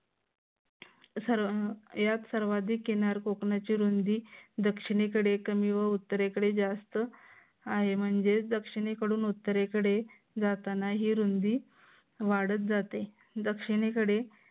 या सर्वाधिक किनार कोकणाची रुंदी दक्षिणेकडे कमी व उत्तरेकडे जास्त आहे. म्हणजेच दक्षिणेकडून उत्तरेकडे जाताना ही रुंदी वाढत जाते. दक्षिणेकडे